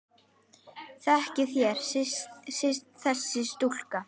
Þekkið þér þessa stúlku?